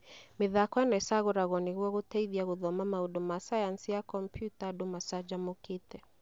Mĩthako ĩno ĩcagũragwo nĩguo gũteithia gũthoma maũndũ ma sayansi ya kombiuta andũ machanjamũkite